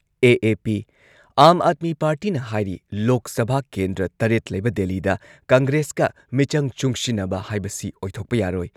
AAP. Aam Aadmi ꯄꯥꯔꯇꯤꯅ ꯍꯥꯏꯔꯤ ꯂꯣꯛ ꯁꯚꯥ ꯀꯦꯟꯗ꯭ꯔ ꯇꯔꯦꯠ ꯂꯩꯕ ꯗꯦꯜꯂꯤꯗ ꯀꯪꯒ꯭ꯔꯦꯁꯀ ꯃꯤꯆꯪ ꯆꯨꯡꯁꯤꯟꯅꯕ ꯍꯥꯏꯕꯁꯤ ꯑꯣꯏꯊꯣꯛꯄ ꯌꯥꯔꯣꯏ꯫